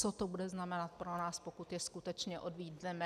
Co to bude znamenat pro nás, pokud je skutečně odmítneme.